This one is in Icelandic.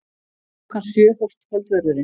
Klukkan sjö hófst kvöldverðurinn.